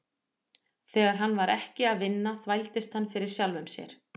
Þegar hann var ekki að vinna þvældist hann fyrir sjálfum sér.